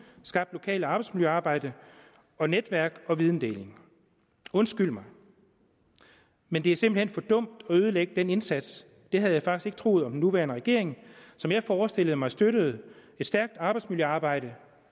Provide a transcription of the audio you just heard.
skabt lokalt arbejdsmiljøarbejde og netværk og videndeling undskyld mig men det er simpelt hen for dumt at ødelægge den indsats det havde jeg faktisk ikke troet om den nuværende regering som jeg forestillede mig støttede et stærkt arbejdsmiljøarbejde